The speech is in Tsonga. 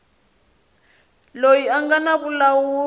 loyi a nga na vulawuri